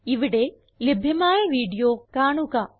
ഇവിടെ ലഭ്യമായ വീഡിയോ കാണുക